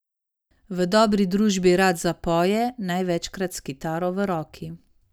V dobri družbi rad zapoje, največkrat s kitaro v roki.